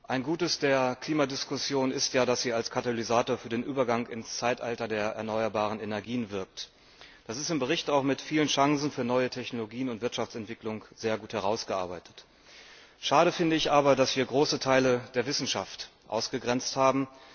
Ein Gutes der Klimadiskussion ist, dass sie als Katalysator für den Übergang ins Zeitalter der erneuerbaren Energien wirkt. Das ist im Bericht auch mit vielen Chancen für neue Technologien und Wirtschaftsentwicklung sehr gut herausgearbeitet. Schade finde ich aber, dass wir große Teile der Wissenschaft ausgegrenzt haben.